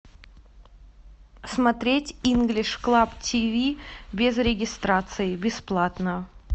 смотреть инглиш клаб ти ви без регистрации бесплатно